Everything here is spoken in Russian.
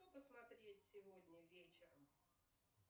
что посмотреть сегодня вечером